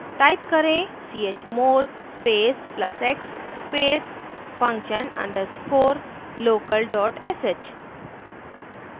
type करें chmod space plus x space function underscore local dot sh